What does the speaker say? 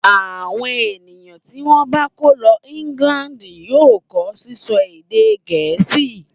Àwọn ènìyàn tí wọ́n bá kó lọ England yóò kọ́ sísọ èdè Gẹ̀ẹ́sì.